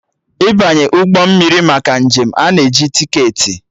Ịbanye ụgbọ mmiri maka njem, a na-eji tiketi